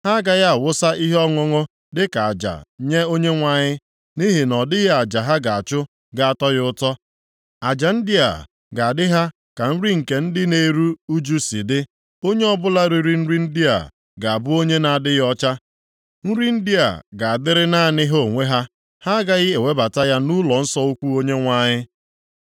Ha agaghị awụsa ihe ọṅụṅụ dịka aja nye Onyenwe anyị, nʼihi na ọdịghị aja ha ga-achụ ga-atọ ya ụtọ. Aja ndị a ga-adị ha ka nri nke ndị na-eru ụjụ si dị. Onye ọbụla riri nri ndị a ga-abụ onye na-adịghị ọcha. Nri ndị a ga-adịrị naanị ha onwe ha, ha agaghị ewebata ya nʼụlọnsọ ukwu Onyenwe anyị.